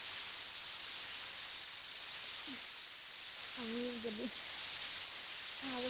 আমিও যদি অহা বছৰ